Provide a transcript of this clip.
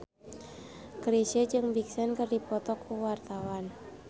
Chrisye jeung Big Sean keur dipoto ku wartawan